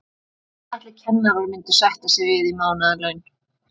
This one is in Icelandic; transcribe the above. En hvað ætli kennarar myndu sætta sig við í mánaðarlaun?